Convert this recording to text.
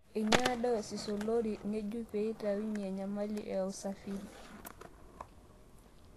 Einyang'ua diocese oolri ng'ejuk pee eitatua enyamali eusafiri